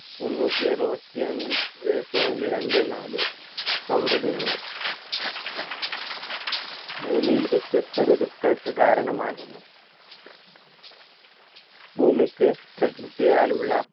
മുന്നൂറ്റി ആറുവത്തി അഞ്ചേ point രണ്ടേ നാല് സൗര ദിനങ്ങൾ ഭൂമിയിൽ വ്യത്യസ്ത ഋതുക്കൾക്ക് കാരണമാകുന്നു ഭൂമിക്ക് പ്രകൃതിയാലുള്ള